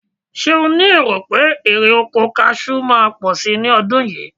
Ṣé ó ní èrò pé erè oko kaṣú máa pọ̀ ní ọdún yìí?